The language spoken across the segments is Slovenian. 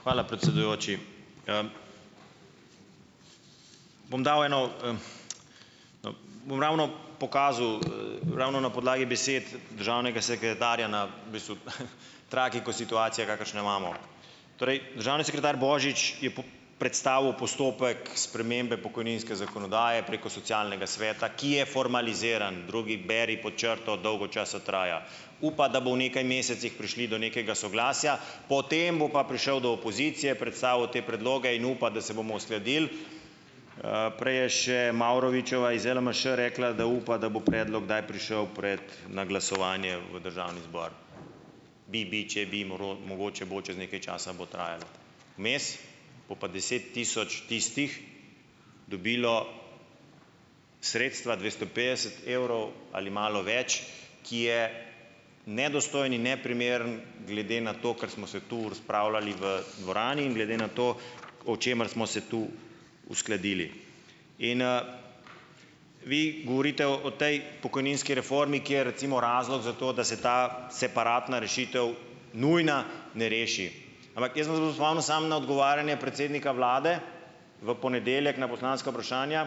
Hvala, predsedujoči. Bom dal eno, no, bom ravno pokazal, ravno na podlagi besed državnega sekretarja na, v bistvu, tragiko situacijo, kakršno jo imamo. Torej, državni sekretar Božič je predstavil postopek spremembe pokojninske zakonodaje, preko socialnega sveta, ki je formaliziran, drugi, beri pod črto, dolgo časa traja. Upa, da bo v nekaj mesecih prišli do nekega soglasja, potem bo pa prišel do opozicije, predstavil te predloge in upa, da se bomo uskladili. Prej je še Mavrovičeva iz LMŠ rekla, da upa, da bo predlog kdaj prišel pred, na glasovanje v državni zbor. Bi, bi, če bi, mogoče bo, čas nekaj časa bo trajalo. Vmes bo pa deset tisoč tistih dobilo sredstva dvesto petdeset evrov ali malo več, ki je nedostojen in neprimeren, glede na to, kar smo se tu razpravljali v dvorani in glede na to, o čemer smo se tu uskladili. In, vi govorite o o tej pokojninski reformi, kjer recimo razlog za to, da se ta "separatna" rešitev, nujna, ne reši. Ampak jaz vas bom spomnil samo na odgovarjanje predsednika vlade, v ponedeljek, na poslanska vprašanja,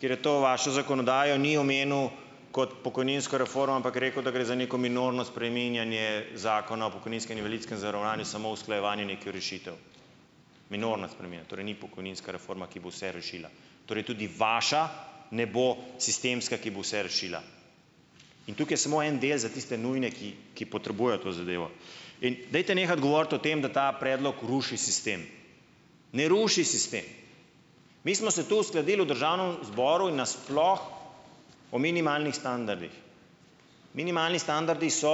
kjer je to vašo zakonodajo, ni omenil kot pokojninsko reformo, ampak je rekel, da gre za neko "minorno" spreminjanje zakona o pokojninskem in invalidskem zavarovanju, samo usklajevanje nekih rešitev. "Minorna" sprememba torej ni pokojninska reforma, ki bo vse rešila. Torej tudi vaša ne bo sistemska, ki bo vse rešila. In tukaj je samo en del za tiste nujne, ki ki potrebujejo to zadevo. In dajte nehati govoriti o tem, da ta predlog ruši sistem. Ne ruši sistem. Mi smo se tu uskladili v državnem zboru in na sploh o minimalnih standardih. Minimalni standardi so,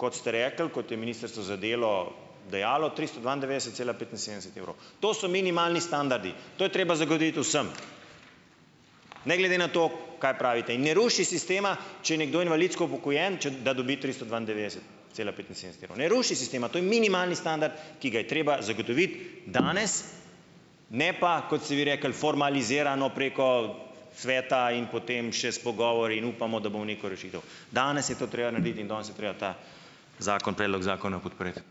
kot ste rekli, kot je Ministrstvo za delo dejalo, tristo dvaindevetdeset cela petinsedemdeset evrov. To so minimalni standardi. To je treba zagotoviti vsem, ne glede na to, kaj pravite, in ne ruši sistema, če je nekdo invalidsko upokojen, če, da dobi tristo dvaindevetdeset cela petinsedemdeset evrov. Ne ruši sistema, to je minimalni standard, ki ga je treba zagotoviti danes, ne pa, kot ste vi rekli, formalizirano, preko sveta in potem še s pogovori in upamo, da bomo neko rešitev. Danes je to treba narediti in danes je treba ta, zakon, predlog zakona podpreti.